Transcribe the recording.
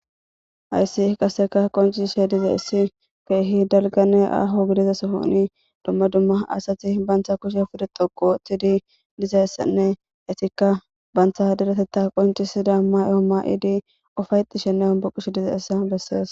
Hayssi qaseka qoncishe diza issi keehi dalgane aaho gidezasohoni dumma dumma asati bantha kushe pude xoko oththidi dizassanne esikka bantha deretetta qoncisida ma'y omma'idi ufaytishenne ombuqushe dize essa bessees.